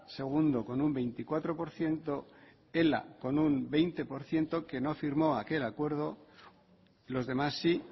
segundo con un veinticuatro por ciento ela con un veinte por ciento que no firmó aquel acuerdo los demás sí